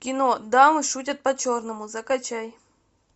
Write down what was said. кино дамы шутят по черному закачай